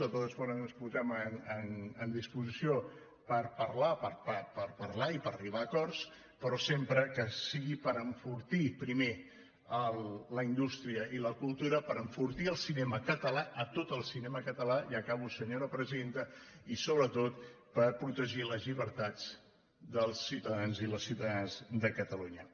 de totes formes ens posem en disposició per parlar per parlar i per arribar a acords però sempre que sigui per enfortir primer la indústria i la cultura per enfortir el cinema català tot el cinema català i acabo senyora presidenta i sobretot per protegir les llibertats dels ciutadans i les ciutadanes de catalunya